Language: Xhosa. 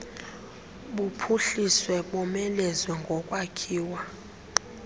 buphuhliswe bomelezwe ngokwakhiwa